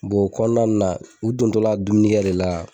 o kɔnɔna nun na u dontɔ la dumuni kɛ de la